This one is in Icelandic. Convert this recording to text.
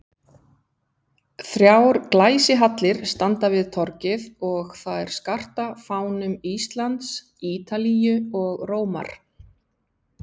Þrjár glæsihallir standa við torgið og þær skarta fánum Íslands, Ítalíu og Rómar.